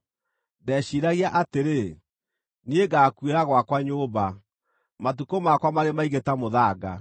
“Ndeciiragia atĩrĩ, ‘Niĩ ngaakuĩra gwakwa nyũmba, matukũ makwa marĩ maingĩ ta mũthanga.